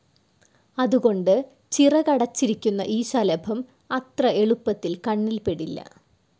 അതുകൊണ്ട് ചിറകടച്ചിരിക്കുന്ന ഈ ശലഭം അത്ര എളുപ്പത്തിൽ കണ്ണിൽപ്പെടില്ല.